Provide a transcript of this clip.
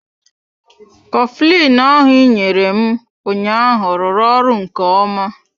Coflin ahụ ị nyere m ụnyaahụ rụrụ ọrụ nke ọma.